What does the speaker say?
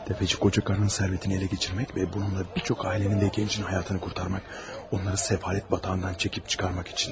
Təfəçi qoca qadının sərvətini ələ keçirmək və bununla bir çox ailənin də gəncinin həyatını qurtarmaq, onları səfalət batağından çəkib çıxarmaq üçün.